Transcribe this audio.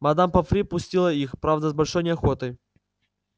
мадам помфри пустила их правда с большой неохотой